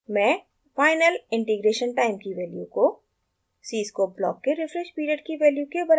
मैं final integration time की value को cscope block के refresh period की वैल्यू के बराबर रखूँगी